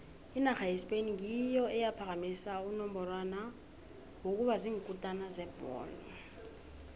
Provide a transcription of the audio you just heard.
inarha yespain ngiyo eyaphakamisa unongorwana wokuba ziinkutini zebholo